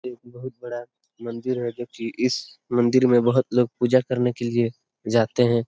एक बोहत बड़ा मंदिर है जो कि इस मंदिर में बोहोत लोग पूजा करने के लिए जाते हैं।